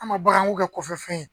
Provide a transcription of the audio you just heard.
An ma baganw kɛ kɔfɛ fɛn ye